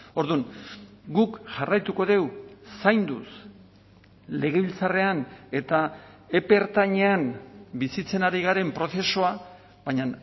orduan guk jarraituko dugu zainduz legebiltzarrean eta epe ertainean bizitzen ari garen prozesua baina